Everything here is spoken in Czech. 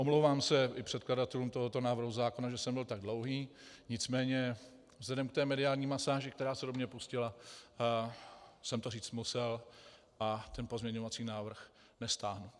Omlouvám se i předkladatelům tohoto návrhu zákona, že jsem byl tak dlouhý, nicméně vzhledem k té mediální masáži, která se do mě pustila, jsem to říct musel a ten pozměňovací návrh nestáhnu.